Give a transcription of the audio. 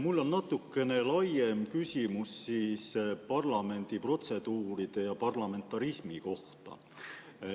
Mul on natukene laiem küsimus parlamendi protseduuride ja parlamentarismi kohta.